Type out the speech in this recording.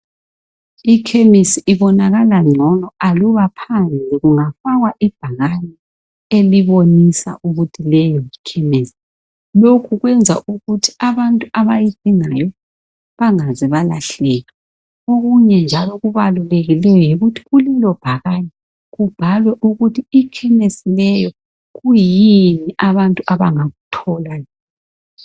Ikhemisi ibonakala ngcono aluba phandle kungafakwa ibhakani elibonisa ukuthi leyo yikhemesi. Lokhu kwenza ukuthi abantu abayidingayo bangaze balahleka. Okunye njalo okubalulekileyo yikuthi kulelobhakane kubhalwe ukuthi kuyini abantu abangakuthola.